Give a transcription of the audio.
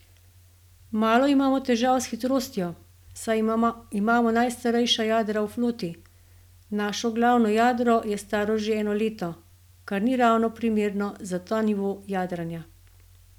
Malo imamo težav s hitrostjo, saj imamo najstarejša jadra v floti, naše glavno jadro je staro že eno leto, kar ni ravno primerno za ta nivo jadranja.